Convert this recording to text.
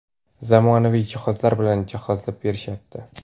zamonaviy jihozlar bilan jihozlab berishyapti.